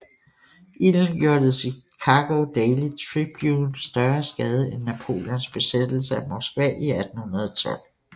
Ilden gjorde The Chicago Daily Tribune større skade end Napoleons besættelse af Moskva i 1812